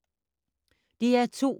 DR2